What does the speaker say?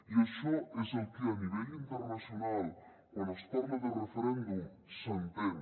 i això és el que a nivell internacional quan es parla de referèndum s’entén